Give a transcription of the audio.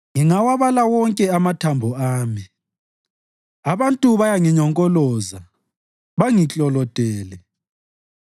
Ngingawabala wonke amathambo ami; abantu bayanginyonkoloza bangiklolodele.